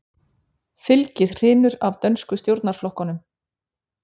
Fylgið hrynur af dönsku stjórnarflokkunum